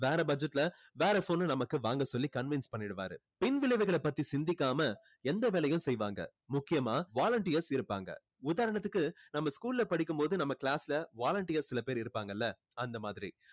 வேற budget ல வேற phone நமக்கு வாங்க சொல்லி convince பண்ணிடுவாரு பின் விளைவுகளை பத்தி சிந்திக்காம எந்த வேலையும் செய்வாங்க முக்கியமா volunteers இருப்பாங்க உதாரணத்துக்கு நாம school ல படிக்கும் போது நம்ம class ல volunteers சில பேர் இருப்பாங்கல்ல அந்த மாதிரி